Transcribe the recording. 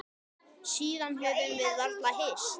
Síðan höfum við varla hist.